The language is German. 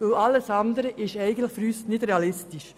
Alles andere ist für uns nicht realistisch.